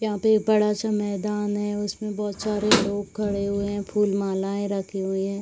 यहाँ पे एक बड़ा सा मैदान है। उसमें बहोत सारे लोग खड़े हुए हैं। फूल मलाएं रखी हुई हैं।